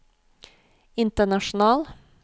international